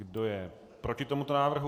Kdo je proti tomuto návrhu?